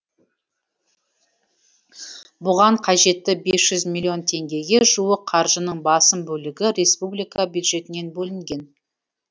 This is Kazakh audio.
бұған қажетті бес жүз миллион теңгеге жуық қаржының басым бөлігі республика бюджетінен бөлінген